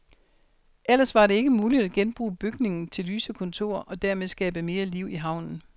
Ellers var det ikke muligt at genbruge bygningen til lyse kontorer, og dermed skabe mere liv i havnen.